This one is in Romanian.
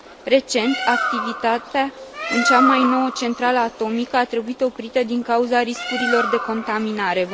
Recent, activitatea în cea mai nouă centrală atomică a trebuit oprită din cauza riscurilor de contaminare.